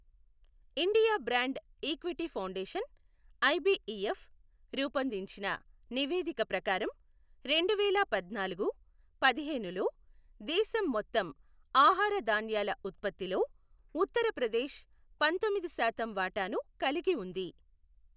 India brand equity foundation, IBEF, రూపొందించిన నివేదిక ప్రకారం, రెండువేల పద్నాలుగు, పదిహేనులో, దేశం మొత్తం ఆహార ధాన్యాల ఉత్పత్తిలో ఉత్తర ప్రదేశ్ పంతొమ్మిది శాతం వాటాను కలిగి ఉంది.